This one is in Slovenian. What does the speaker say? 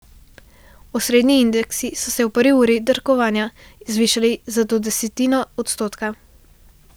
Osrednji indeksi so se v prvi uri trgovanja zvišali za do desetino odstotka.